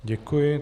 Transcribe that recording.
Děkuji.